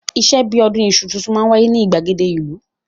Ìṣe bí i ọdún iṣu tuntun máa ń wáyé ní ìgbàgede ìlú.